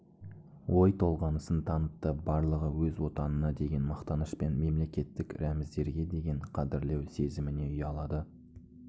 ой толғанысын танытты барлығы өз өтанына деген мақтаныш пен мемлекеттік рәміздерге деген қадірлеу сезіміне ұялады